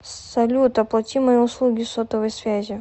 салют оплати мои услуги сотовой связи